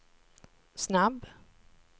snabb